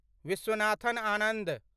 Viswanathan Anand